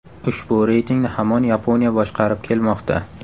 Ushbu reytingni hamon Yaponiya boshqarib kelmoqda.